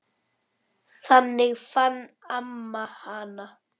Þannig fann amma hana.